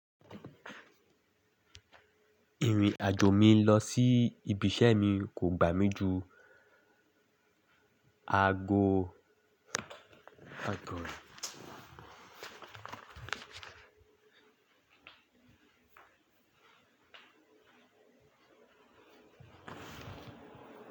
Ìrìn àjò mi lọ sí ibi iṣẹ́ mi kò gbà mí ju ago.